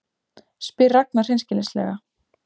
spyr Ragna hreinskilnislega.